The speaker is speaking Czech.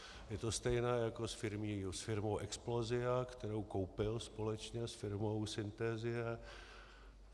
Je to stejné jako s firmou Explosia, kterou koupil společně s firmou Synhesia.